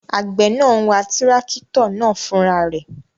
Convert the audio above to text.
Àgbẹ̀ náà n wa tírákítọ̀ náà fúnra rẹ̀